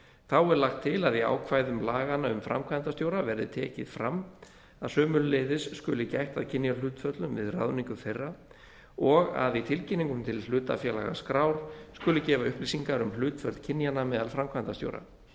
þá er lagt til að í ákvæðum laganna um framkvæmdastjóra verði tekið fram að sömuleiðis skuli gætt að kynjahlutföllum við ráðningu þeirra og að í tilkynningum til hlutafélagaskrár skuli gefa upplýsingar um hlutföll kynjanna meðal framkvæmdastjóra